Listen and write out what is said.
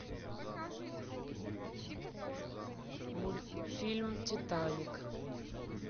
мультфильм титаник